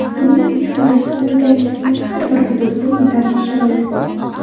Buning uchun respublikangizning har bir hududida yetarli sharoit bor.